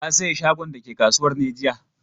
Ka saye shagon da ke kasuwar ne jiya?